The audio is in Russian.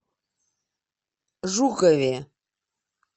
жукове